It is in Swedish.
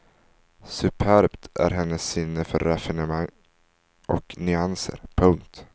Superbt är hennes sinne för raffinemang och nyanser. punkt